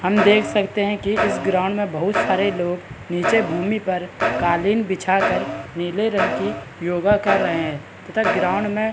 हम देख सकते है की इस ग्राउंड में बहुत सारे लोग नीचे भूमि पर कालीन बिछा कर नीले रंग की योग कर रहे हैं तथा ग्राउंड में --